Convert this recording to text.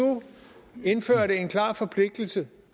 indførte en klar forpligtelse